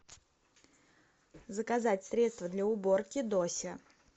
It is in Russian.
заказать средство для уборки дося